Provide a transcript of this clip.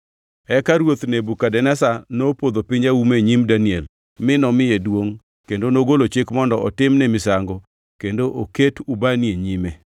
Eka ruoth Nebukadneza nopodho piny auma e nyim Daniel mi nomiye duongʼ kendo nogolo chik mondo otimne misango kendo oket ubani e nyime.